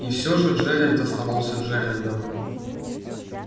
и все же джералд оставался джералдом